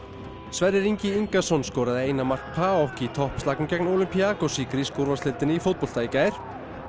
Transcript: Sverrir Ingi Ingason skoraði eina mark í toppslagnum gegn Olympiacos í grísku úrvalsdeildinni í fótbolta í gær